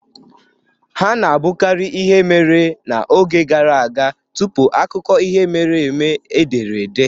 Ha na-abụkarị ihe mere n'oge gara aga tupu akụkọ ihe mere eme e dere ede.